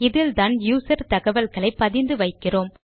இதில்தான் யூசர் தகவல்களை பதிந்து வைக்கிறோம்